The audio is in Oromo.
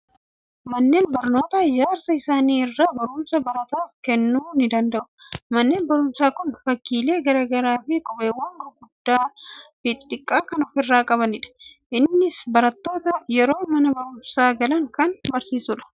Manneen barnootaa ijaarsa isaanii irraa barumsa barataaf kennuu ni danda'u. Manni barumsaa kun fakkiilee garaa garaa fi qubeewwan gurguddaa fi xixiqqaa kan ofirraa qabanidha. Innis barattoota yeroo mana barumsaa galan kan barsiisudha.